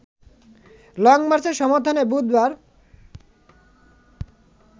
লংমার্চের সমর্থনে বুধবার